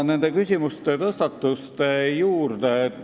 Nüüd tõstatatud küsimuste juurde.